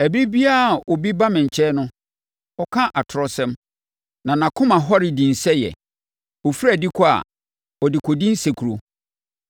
Ɛberɛ biara a obi ba me nkyɛn no, ɔka atorɔsɛm, na nʼakoma hɔre dinsɛeɛ; ɔfiri adi kɔ a, ɔde kɔdi nsekuro.